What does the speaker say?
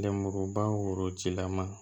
Lenmuruba worotigila ma